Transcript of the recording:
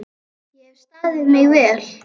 Ég hef staðið mig vel.